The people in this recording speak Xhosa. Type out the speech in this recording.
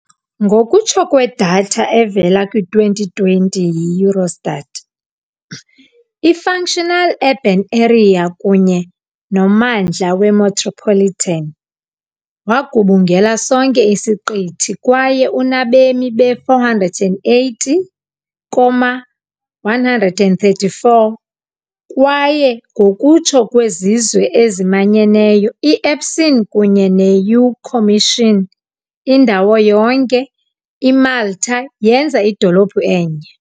Ngokutsho kwedatha evela kwi-2020 yi -Eurostat, i-Functional Urban Area kunye nommandla we-metropolitan wagubungela sonke isiqithi kwaye unabemi be-480,134, kwaye ngokutsho kweZizwe eziManyeneyo, i- ESPON kunye ne-EU Commission, "indawo yonke IMalta yenza idolophu enye".